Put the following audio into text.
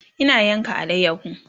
Ina yanka alayaho